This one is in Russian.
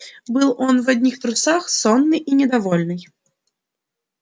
был он в одних трусах сонный и недовольный